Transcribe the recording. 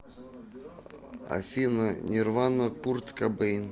афина нерванна курт кабейн